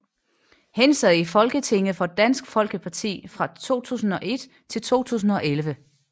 Han sad i Folketinget for Dansk Folkeparti fra 2001 til 2011